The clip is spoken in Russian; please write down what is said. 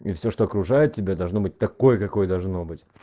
и всё что окружает тебя должно быть такой какой должно быть